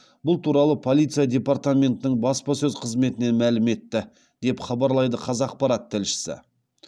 бұл туралы полиция департаментінің баспасөз қызметінен мәлім етті деп хабарлайды қазақпарат тілшісі